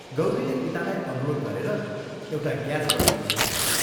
गौरीले पितालाई अनुरोध गरेर एउटा ग्यास बत्ती झिकाइदिई।